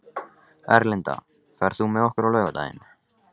Erlinda, ferð þú með okkur á laugardaginn?